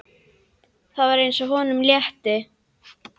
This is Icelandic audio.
Það var eins og honum létti.